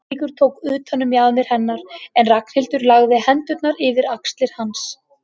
Eiríkur tók utan um mjaðmir hennar en Ragnhildur lagði hendurnar yfir axlir hans.